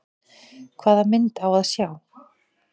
Hvaða mynd á að sjá?